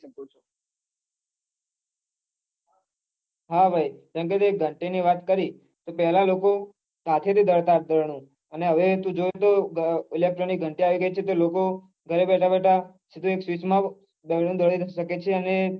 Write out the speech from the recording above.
હા ભાઈ જેમકે તે ઘંટી ની વાત કરી તો પેલાના લોકો હાથે થી દળતા અને હવે તો તું જોવે તો electronic ઘંટી આવી ગયી છે ઘરે બેઠા બેઠા સીધું એક switch માં જ દયનું દળી સકે છે ને